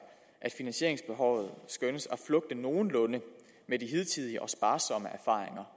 at finansieringsbehovet skønnes at flugte nogenlunde med de hidtidige og sparsomme erfaringer